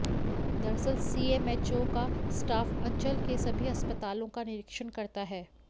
दरअसल सीएमएचओ का स्टाफ अंचल के सभी अस्पतालों का निरीक्षण करता है